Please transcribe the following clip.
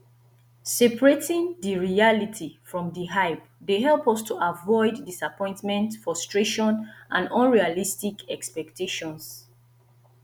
separating di reality from di hype dey help us to avoid disappointment frustration and unrealistic expectations